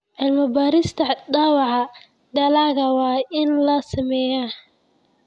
Cilmi-baarista dhaawaca dalagga waa in la sameeyaa.